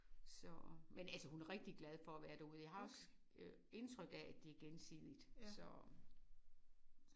Så men altså hun er rigtig glad for at være derude. Jeg har også øh indtryk af at det er gensidigt så